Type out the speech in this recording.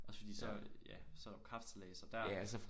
Også fordi så ja så er der kapsejlads og der